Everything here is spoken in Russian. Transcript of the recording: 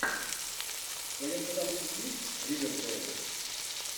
в твоем каталоге есть ривердейл